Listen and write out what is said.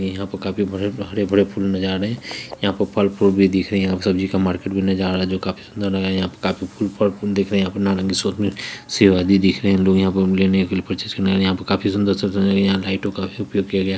यहाँ पर काफी बड़े हरे-भरे फूल नज़र आ रहे हैं यहाँ पे फल-फूल भी दिख रहे हैं यहाँ पे सब्जी का मार्केट भी नज़र आ रहा है जो काफी सुन्दर लग रहा है यहाँ पर काफी फूल-फल फूल दिख रहे हैं यहाँ पे नारंगी सेब आदि दिख रहे हैं लोग यहाँं पर लेने के लिए यहाँं लाइटो का भी उपयोग किया गया --